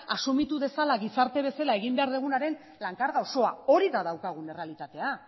asumitu dezala gizarte bezala egin behar dugunaren lan karga osoa hori da daukagun errealitatea